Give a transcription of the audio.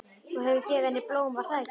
Þú hefur gefið henni blóm, var það ekki?